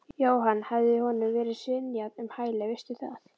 Jóhann: Hafði honum verið synjað um hæli, veistu það?